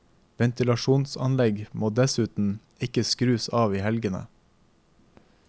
Ventilasjonsanlegg må dessuten ikke skrus av i helgene.